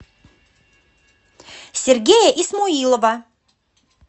сергея исмоилова